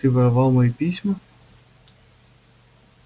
ты воровал мои письма